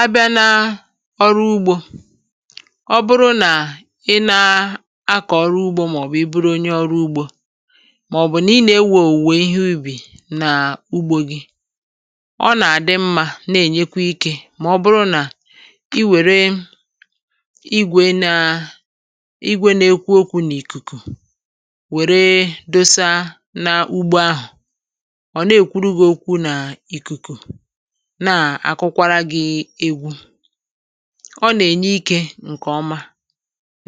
Abịa na ọrụ ugbȯ ọ bụrụ nà ị nȧ-akọ̀ ọrụ ugbȯ màọ̀bụ̀ ị bụrụ onye ọrụ ugbȯ màọ̀bụ̀ nà ị nà-ewè owuwe ìhè ubì nà ugbȯ gị ọ nà-àdị mmȧ na-ènyekwa ikė mà ọ bụrụ nà i wère igwė ná igwė na-ekwu okwu̇ n’ìkùkù wère dosa n’ugbȯ ahụ̀ ọ̀ na-èkwuru gị okwu̇ nà ìkùkù na àkụkwara gị̇ egwu ọ nà-ènye ikė ǹkè ọma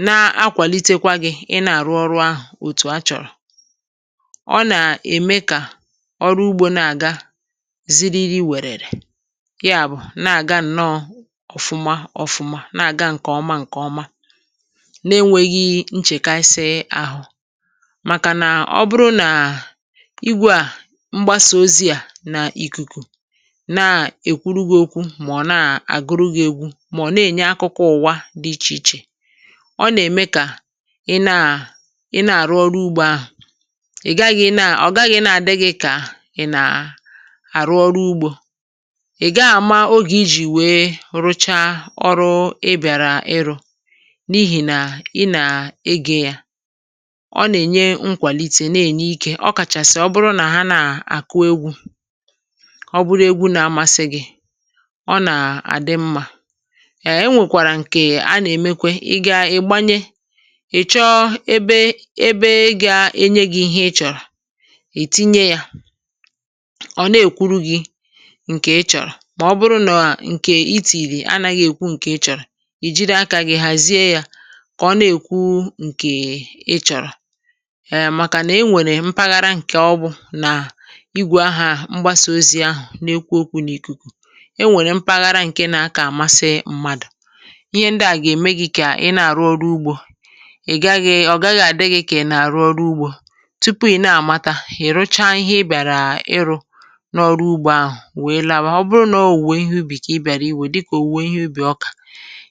na-akwàlitekwa gị̇ ị nà-àrụ ọrụ̇ ahụ̀ òtù a chọ̀rọ̀. Ọ nà-ème kà ọrụ ugbȯ na-àga ziri ri wèrèrè yá bụ̀ na-àga nnọọ ọ̀fụma ọfụma na-àga ǹkè ọma ǹkè ọma na-enwėghi̇ nchèkàsịi àhụ màkànà ọ bụrụ nà ìgwè à mgbasa ozi à nà ikuku na ekwuru gị ókwú mọ̀ nà-àgụrụ gị̇ égwú mà ọ̀ nà-ènye akụkụ ụ̀wa dị ichè ichè, ọ nà-ème kà ị naà ị na-àrụ ọrụ ugbȯ ahụ̀ ị̀ gaghị̇ na, ọ̀ gaghị̇ na-àdịghị̇ kà ị nà àrụ ọrụ ugbȯ ị̀ ga àma ogè ijì wéé rụcha ọrụ ị biarà ịrụ̇ n’ihì nà ị nà-ege yȧ ọ nà-ènye nkwàlìtè, na-ènye ikė ọ kàchàsị̀ ọ bụrụ nà ha naà àkụ égwú ọ bụrụ égwú nà amasị gị ọ nà-àdị mmȧ um enwèkwàrà ǹkè a nà-emekwe ị gȧ-ịgbanye ị̀ chọọ ébé ébé gȧ-enye gị̇ ihé ị chọ̀rọ̀ e tinye yȧ ọ̀ na-èkwuru gị̇ ǹkè ị chọ̀rọ̀ mà ọ bụrụ nọ ǹkè itìrì anaghị̇ èkwu ǹkè ị chọ̀rọ̀ ì jiri akȧ gị̇ hàzie yȧ kà ọ na-èkwu ǹkè ị chọ̀rọ̀ um màkà nà e nwèrè mpaghara ǹkè ọ bụ̀ nà igwe aha mgbasa ozi ahụ̀ n’ekwu okwu n’ìkùkù e nwèrè mpaghara ǹke nà-akà àmasị mmadụ̀ ìhè ndị à gà-ème gị kà ị nà-àrụ ọrụ ugbȯ ị̀ gaghị̇, ọ̀ gaghị̇ àdịghị̇ kà ị nà-àrụ ọrụ ugbȯ tupu ị̀ na-àmata, ị̀ rụcha ihé ị bịàrà ịrụ̇ n’ọrụ ugbȯ ahụ̀ wèe lawa, ọ bụrụ nà ọ̀ owuwe ihé ubì kà ị bịàrà iwè dịkà owuwe ihé ubì ọkà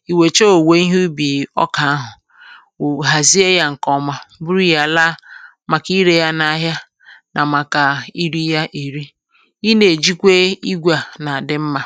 i wècha owuwe ihé ubì ọkà ahụ̀ wụ̀ hàzie ya ǹkè ọma buru yá laa màkà irė ya n’ahịa nà màkà iri ya èri, ị na ejikwe ígwè a ná á dị mmá.